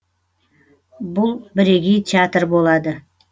бұл бірегей театр болады